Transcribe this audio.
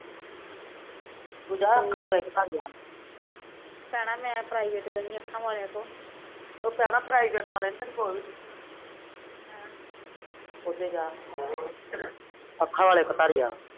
ਤੂੰ ਜਾ ਅੱਖਾ ਵਾਲੇ ਦਿਖਾ ਉਹ ਭੈਣਾ ਪ੍ਰੀਵੇਟ ਵਾਲਿਆ ਨੇ ਨੀ ਤੈਨੂੰ ਕੁਛ ਵੀ ਹਮ ਅੱਖਾ ਵਾਲੇ ਕਟਾਰੀਆਂ